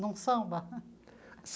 Num samba?